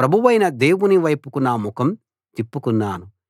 ప్రభువైన దేవుని వైపుకు నా ముఖం తిప్పుకున్నాను